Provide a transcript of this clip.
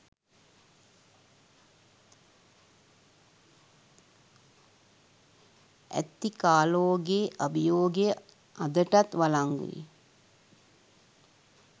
ඇති කාලෝගෙ අභියෝගය අදටත් වලංගුයි